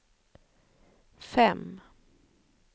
fem